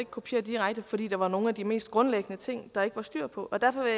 kopiere direkte fordi der var nogle af de mest grundlæggende ting der ikke var styr på derfor vil